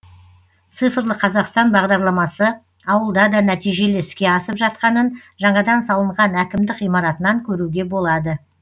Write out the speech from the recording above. цифрлы қазақстан бағдарламасы ауылда да нәтижелі іске асып жатқанын жаңадан салынған әкімдік ғимаратынан көруге болады